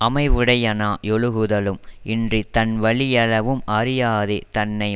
அமைவுடையனாயொழுகுதலும் இன்றித் தன்வலி யளவும் அறியாதே தன்னை